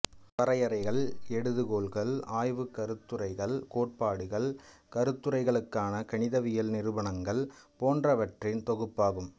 வரையறைகள் எடுகோள்கள் ஆய்வுக்கருத்துரைகள் கோட்பாடுகள் கருத்துரைகளுக்கான கணிதவியல் நிரூபணங்கள் போன்றவற்றின் தொகுப்பாகும்